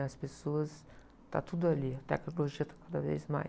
As pessoas, está tudo ali, a tecnologia está cada vez mais.